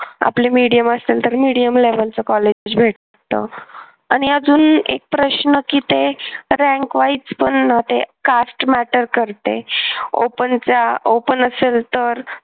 आपली medium असेल तर mediumlevel च कॉलेज भेटतं. आणि अजून एक प्रश्न की ते rankwise पण ना ते cast matter करते. open ज्या open असेल तर